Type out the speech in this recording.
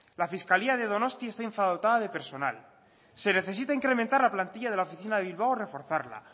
la fiscalía de donostia está infradotada de personal se necesita incrementar la plantilla de la oficina de bilbao o reforzarla